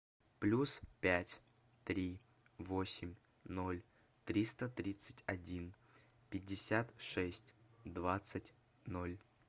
плюс пять три восемь ноль триста тридцать один пятьдесят шесть двадцать ноль